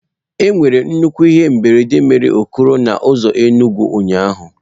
Enwere nnukwu ihe mberede mere okoro na ụzọ Enugwu ụnyahụ.